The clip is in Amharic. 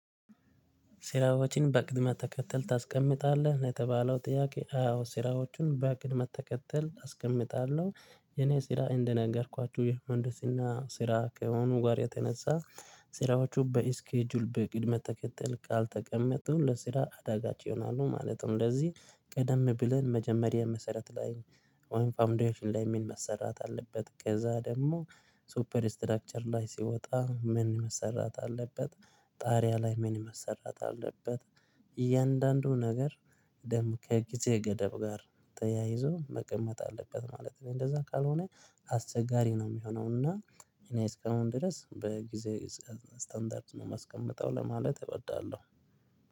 ስራዎችን በቅደም ተከተል ታስቀምጣለህ ነው የተባለው ጥያቄ? አዎ ስራዎችን በቅደም ተከተል አስቀምጣለሁ የኔ ስራ እንደነገርኳችሁ የምህን ድስና ስራ ከመሆኑ ጋር የተነሳ ስራዎቹ በስኬጁል በቅደም ተከተል ካልተቀመጡ ለስራ አዳጋች ይሆናሉ ማለት ነው። እንደዚህ ቀደም ብለን መጀመሪያ መሰረት ላይ ወይም ፋውንዴሽን ምን ላይ መሰራት አለበት ከዛ ደግሞ ሱፐር ስትራክቸር ላይ ሲወጣ ምን መሰራት አለበት? ጣሪያ ላይ ምን መሰራት አለበት? እያንዳንዱ ነገር ደግሞ ከጊዜ ገደብ ጋር ተያይዞ መቀመጥ አለበት ማለት ነው። እንደዛ ካልሆነ አስቸጋሪ ነው የሚሆነው። እና እኔ እስከአሁን ድረስ በጊዜ ስታንዳርድ ነው የማስቀምጠው ለማለት እወዳለሁ።